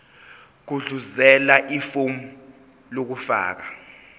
gudluzela ifomu lokufaka